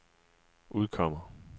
udkommer